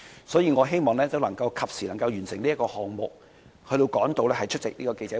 所以，我希望可以及時完成這項議案的審議，以趕及出席稍後的記者會。